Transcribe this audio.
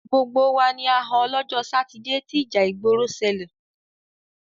Gbogbo wa ni a họ lọ́jọ́ Sátidé tí ìjà ìgbòrò ṣẹlẹ̀.